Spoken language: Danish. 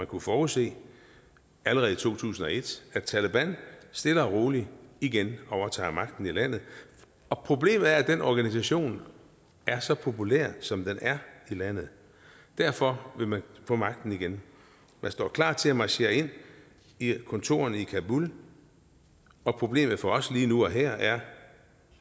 kunne forudse allerede i to tusind og et nemlig at taleban stille og roligt igen overtager magten i landet og problemet er at den organisation er så populær som den er i landet derfor vil man få magten igen man står klar til at marchere ind i kontorerne i kabul og problemet for os lige nu og her er